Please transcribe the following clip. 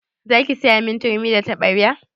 Zaki siyamin turmi da taɓarya?